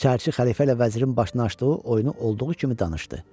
Çərçi xəlifə ilə vəzirin başına açdığı oyunu olduğu kimi danışdı.